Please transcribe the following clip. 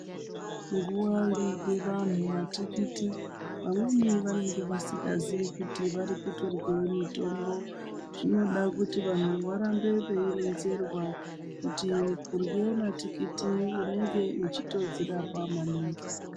Nguwa inorye vandu matikiti vamweni vanenge vasingazii kuti varikutorya mitombo zvinoda kuti vandu varambe veironzerwa kuti kurye matikiti unenge uchitodzirapa maningi.